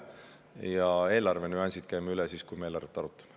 Ja eelarve nüansid käime üle siis, kui me eelarvet arutame.